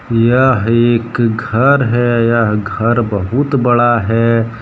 यह एक घर है यह घर बहुत बड़ा है।